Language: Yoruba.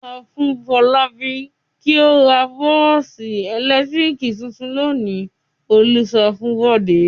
"Sọ fún Fọlábí kí ó ra bọ́ọ́sì ẹ̀lẹ́tíríkì tuntun lónìí!" Olú sọ fún Bọ̀dé.